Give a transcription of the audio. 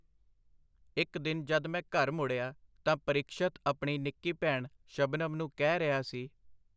ਇਕ ਦਿਨ ਜਦ ਮੈਂ ਘਰ ਮੁੜਿਆ, ਤਾਂ ਪਰੀਖਸ਼ਤ ਆਪਣੀ ਨਿੱਕੀ ਭੈਣ ਸ਼ਬਨਮ ਨੂੰ ਕਹਿ ਰਿਹਾ ਸੀ:.